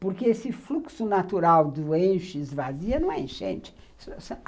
Porque esse fluxo natural do enche-esvazia não é enchente.